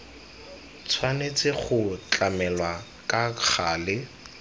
tshwanetse go tlamelwa ka gale